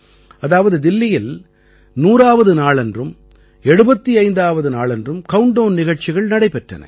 அதாவது தில்லியில் 100ஆவது நாளன்றும் 75ஆவது நாளன்றும் கவுண்ட்டவுன் நிகழ்ச்சிகள் நடைபெற்றன